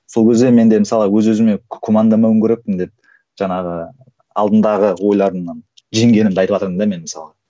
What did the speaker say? сол кезде мен де мысалы өз өзіме күмәнданбауым керекпін деп жаңағы алдындағы ойларыңнан жеңгенімді айтыватырмын да мен мысалға